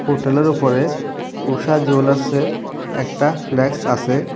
হোটেলের উপরে ঊষা জুয়েলার্সের একটা ফ্ল্যাক্স আসে।